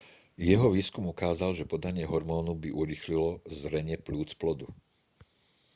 jeho výskum ukázal že podanie homónu by urýchlilo zrenie pľúc plodu